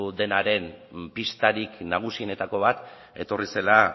denaren pistarik nagusienetako bat etorri zela